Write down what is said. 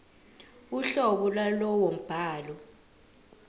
uhlobo lwalowo mbhalo